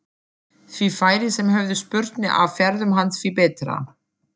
Því færri sem höfðu spurnir af ferðum hans því betra.